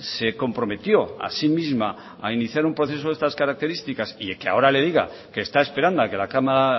se comprometió a sí misma a iniciar un proceso de estas características y que ahora le diga que está esperando a que la cámara